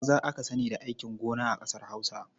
Maza aka sani da aikin gon a ƙasar Hausa.